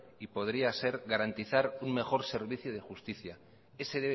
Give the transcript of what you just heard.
y podría ser garantizar un mejor servicio de justicia ese